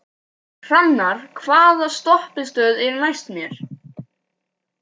Hrannar, hvaða stoppistöð er næst mér?